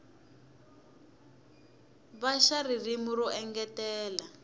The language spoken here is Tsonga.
va xa ririmi ro engetela